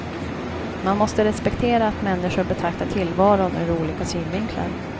Man måste respektera att människor betraktar tillvaron ur olika synvinklar.